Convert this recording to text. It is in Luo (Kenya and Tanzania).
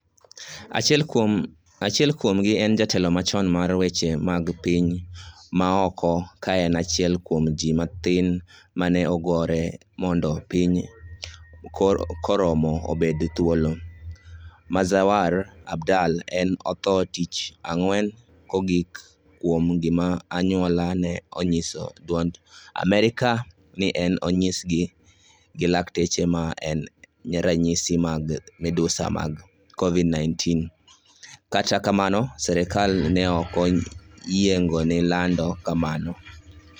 Achiel kuomgi en jatelo machon mar wecho mag piny maoko, kaen achiel kuom ji mathin mane ogore mondo piny komoro obed thuolo, Muzawar abdallah ne otho tich ang'wen gokinyi kuom gima anyuola ne ng'iso duond Amerika ni ne ong'isgi gi lakteche ni ne en ranyisi mag midhusi mag kovid 19,kata kamano serkal neoko yienegi landi kamano.